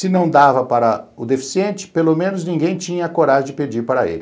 Se não dava para o deficiente, pelo menos ninguém tinha coragem de pedir para ele.